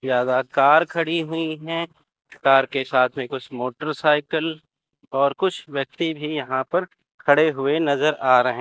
ज्यादा कार खड़ी हुई हैं कार के साथ में कुछ मोटरसाइकिल और कुछ व्यक्ति भी यहां पर खड़े हुए नजर आ रहे--